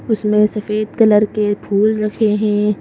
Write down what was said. उसमें सफेद कलर के फूल रखे हैं।